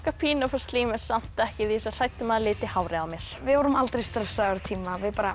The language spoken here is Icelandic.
pínu að fá slím en samt ekki ég er svo hrædd um að það liti hárið á mér við vorum aldrei stressaðar á tíma við